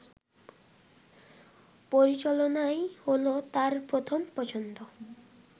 পরিচালনাই হল তার প্রথম পছন্দ